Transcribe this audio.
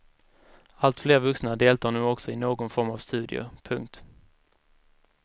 Alltfler vuxna deltar nu också i någon form av studier. punkt